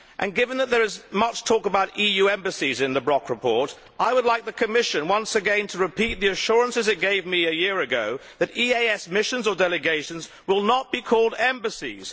Given that there is much talk about EU embassies in the Brok report, I would like the Commission once again to repeat the assurances it gave me a year ago that EEAS missions or delegations will not be called embassies.